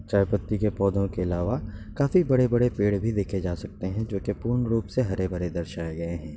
चाय पत्ती के पौधे के आलावा काफी बड़े-बड़े पेड़ भी देखे जा सकते हैं जोके पूर्ण रूप से हरे-भरे दर्शाए गए हैं।